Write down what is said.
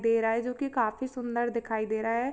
दे रहा है जो की काफी सूंदर दिखाई दे रहा है।